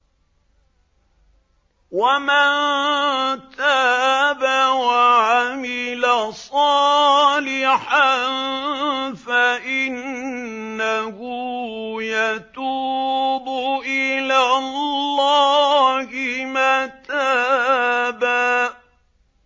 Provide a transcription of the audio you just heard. وَمَن تَابَ وَعَمِلَ صَالِحًا فَإِنَّهُ يَتُوبُ إِلَى اللَّهِ مَتَابًا